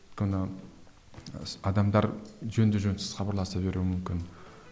өйткені адамдар жөнді жөнсіз хабарласа беруі мүмкін